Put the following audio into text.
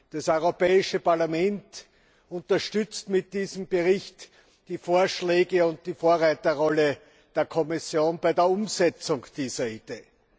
Das Europäische Parlament unterstützt mit diesem Bericht die Vorschläge und die Vorreiterrolle der Kommission bei der Umsetzung dieser Idee.